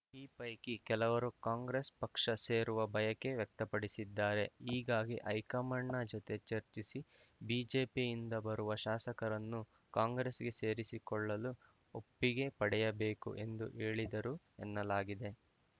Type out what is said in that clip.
ಈ ಪೈಕಿ ಕೆಲವರು ಕಾಂಗ್ರೆಸ್‌ ಪಕ್ಷ ಸೇರುವ ಬಯಕೆ ವ್ಯಕ್ತಪಡಿಸಿದ್ದಾರೆ ಹೀಗಾಗಿ ಹೈಕಮಾಂಡ್‌ನ ಜೊತೆ ಚರ್ಚಿಸಿ ಬಿಜೆಪಿಯಿಂದ ಬರುವ ಶಾಸಕರನ್ನು ಕಾಂಗ್ರೆಸ್‌ಗೆ ಸೇರಿಸಿಕೊಳ್ಳಲು ಒಪ್ಪಿಗೆ ಪಡೆಯಬೇಕು ಎಂದು ಹೇಳಿದರು ಎನ್ನಲಾಗಿದೆ